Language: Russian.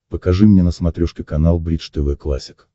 покажи мне на смотрешке канал бридж тв классик